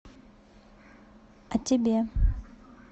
а тебе